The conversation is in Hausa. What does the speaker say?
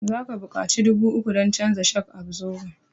Za ka buƙaci dubu uku dan canja shok absoban